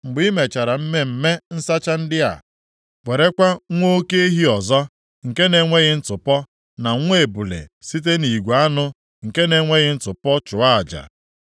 Mgbe i mechara mmemme nsacha ndị a, werekwa nwa oke ehi ọzọ nke na-enweghị ntụpọ, na nwa ebule site nʼigwe anụ nke na-enweghị ntụpọ chụọ aja.